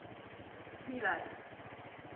miller's